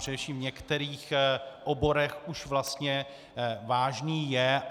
Především v některých oborech už vlastně vážný je.